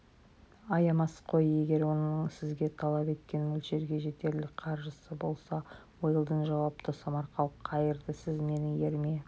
аямас қой егер оның сіз талап еткен мөлшерге жетерлік қаржысы болса уэлдон жауапты самарқау қайырды сіз менің еріме